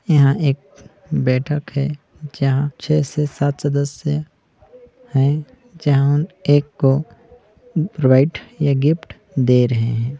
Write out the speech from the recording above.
यह एक बैठक है जहाँ छ: से सात सदस्य है जहाँ एक को प्रोवाइड या गिफ्ट दे रहे है।